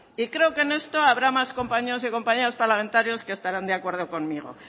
y creo que en esto habrá más compañeros y compañeras parlamentarios que estarán de acuerdo conmigo